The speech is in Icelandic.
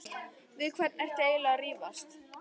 Við hvern ertu eiginlega að rífast?